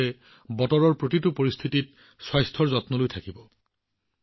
আপোনালোকে প্ৰতিটো বতৰত নিজৰ স্বাস্থ্যৰ যত্ন লব লাগিব